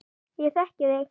Ég þekki þig